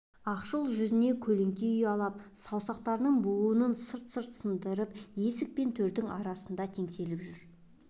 ақшыл жүзіне көлеңке ұялап саусақтарының буынын сырт-сырт сындырып есік пен төрдің арасында теңселіп жүр